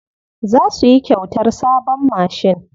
Za su yi kyautar sabon mashin.